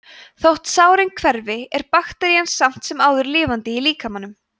þótt sárin hverfi er bakterían samt sem áður lifandi í líkamanum